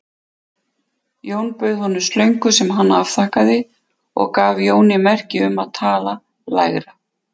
Jón bauð honum slöngu sem hann afþakkaði og gaf Jóni merki um að tala lægra.